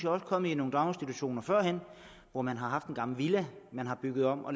også kommet i nogle daginstitutioner førhen hvor man har haft en gammel villa man har bygget om og